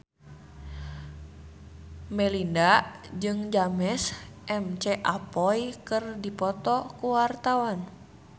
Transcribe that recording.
Melinda jeung James McAvoy keur dipoto ku wartawan